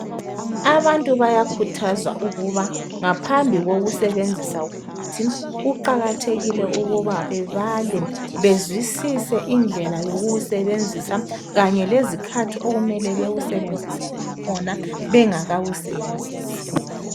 Abantu bayakhuthazwa ukuba ngaphambi kokuzebenzisa umuthi kuqakathekile ukuba bebale bezwisise indlela yokuwusebenzisa kanye lezikhathi okumele bewusebenzise ngakhona bengakawusebenzisi.